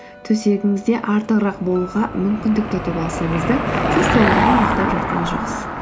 төсегіңізде артығырақ болуға мүмкіндікті ұтып алсаңыз да сіз толығымен ұйықтап жатқан жоқсыз